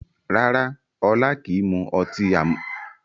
Rárá Ọlá kìí mu ọtí àmupara